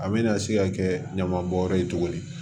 A bɛna se ka kɛ ɲaman bɔnyɔrɔ ye cogo di